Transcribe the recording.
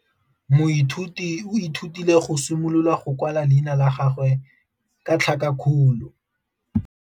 Moithuti o ithutile go simolola go kwala leina la gagwe ka tlhakakgolo.